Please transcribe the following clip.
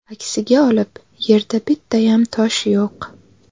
Aksiga olib yerda bittayam tosh yo‘q.